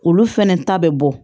Olu fɛnɛ ta bɛ bɔ